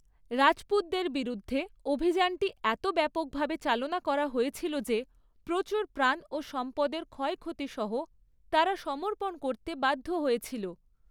রাজপুতদের বিরুদ্ধে অভিযানটি এত ব্যাপকভাবে চালনা করা হয়েছিল যে প্রচুর প্রাণ ও সম্পদের ক্ষয়ক্ষতি সহ তারা সমর্পণ করতে বাধ্য় হয়েছিল।